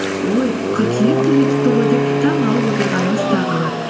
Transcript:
ой қыркүйек те жетіпті ғой деп таңғалып отырғанымыз тағы бар